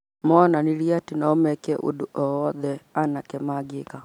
Monanirie atĩ no meke ũndũ o wothe anake mangĩka